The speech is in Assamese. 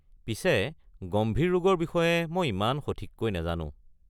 পিছে গম্ভীৰ ৰোগৰ বিষয়ে মই ইমান সঠিককৈ নাজানো।